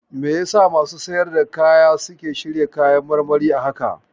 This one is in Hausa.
Me yasa masu siyar da kaya suke shirya kayan marmarin a haka?